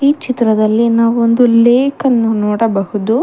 ಈ ಚಿತ್ರದಲ್ಲಿ ನಾವ್ ಒಂದು ಲೇಕ್ ಅನ್ನು ನೋಡಬಹುದು.